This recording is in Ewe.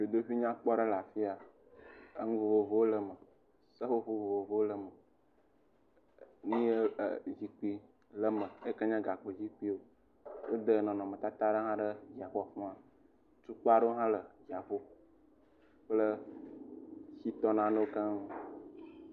Dzodoƒe nyakpɔ aɖe le afi ya. Enu vovovowo le eme. Seƒoƒo vovovowo le eme. Zikpui le eme eyike nye gakpo zikpuiwo. Wode nɔnɔmetata aɖe hã ɖe xɔa me. Tukpa aɖewo hã le dziaƒo kple shitɔ nanewo keŋ.